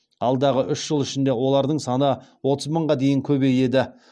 алдағы үш жыл ішінде олардың саны отыз мыңға дейін көбейеді